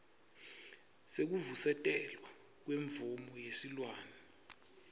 sekuvusetelwa kwemvumo yesilwane